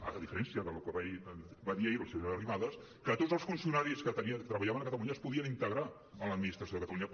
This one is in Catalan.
va dir la senyora arrimadas que tots els funcionaris que treballaven a catalunya es podien integrar a l’administració de catalunya